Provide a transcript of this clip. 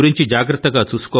అజాగ్రత్త గా ఉండవద్దు